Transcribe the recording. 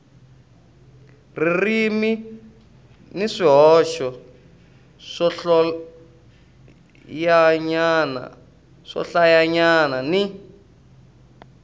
ririmi ni swihoxo swohlayanyana ni